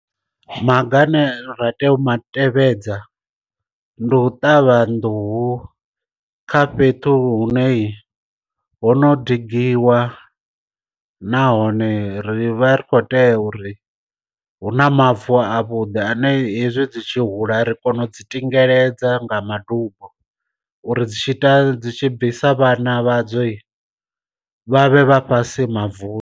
Maga ane ra tea u ma tevhedza, ndi u ṱavha nḓuhu kha fhethu hune ho no digiwa nahone ri vha ri kho tea uri hu na mavu a vhuḓi ane hezwi dzi tshi hula ri kona u dzi tingeledzwa nga madubo uri dzi tshi ita dzi tshi bvisa vhana vha dzo vhavhe vha fhasi mavuni.